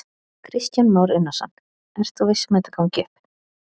Kristján Már Unnarsson: Ert þú viss um að þetta gangi upp?